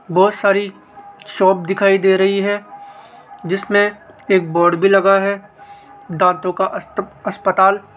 बहोत सारी शॉप दिखाई दे रही है जिसमें एक बोर्ड भी लगा है दांतों का अस्तप अस्पताल।